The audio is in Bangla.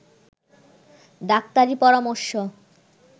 ডাক্তারি পরামর্শ